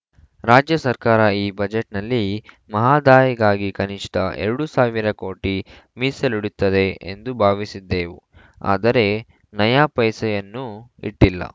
ರಾಜ್ಯ ಸರ್ಕಾರ ಈ ಬಜೆಟ್‌ನಲ್ಲಿ ಮಹದಾಯಿಗಾಗಿ ಕನಿಷ್ಠ ಎರಡು ಸಾವಿರ ಕೋಟಿ ಮೀಸಲಿಡುತ್ತದೆ ಎಂದು ಭಾವಿಸಿದ್ದೆವು ಆದರೆ ನಯ ಪೈಸೆಯನ್ನು ಇಟ್ಟಿಲ್ಲ